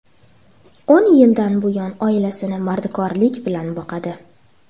O‘n yildan buyon oilasini mardikorlik bilan boqadi.